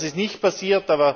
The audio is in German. Das ist nicht passiert.